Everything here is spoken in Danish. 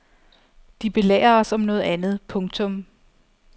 De belærer os om noget andet. punktum